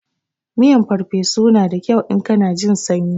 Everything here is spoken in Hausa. Miyan farfesu na da kyau in kana jin sanyi.